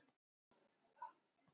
Árið er kannski ekki nýliðið.